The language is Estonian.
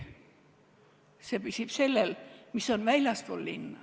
See püsib sellel, mis on väljapool linna.